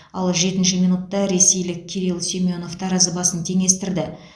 ал жетінші минутта ресейлік кирилл семенов таразы басын теңестірді